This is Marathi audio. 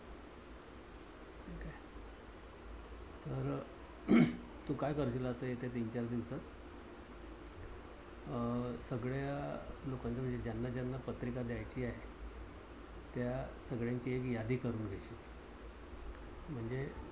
तू काय कर करशील आता या येत्या तीनचार दिवसात अह सगळ्या लोकांच्या ज्यांना ज्यांना पत्रिका द्यायची आहे. त्या सगळ्यांची एक यादी करून घ्यायची. म्हणजे